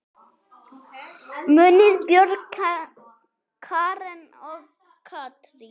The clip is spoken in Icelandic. Munið Björg, Karen og Katrín.